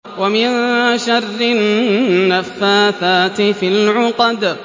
وَمِن شَرِّ النَّفَّاثَاتِ فِي الْعُقَدِ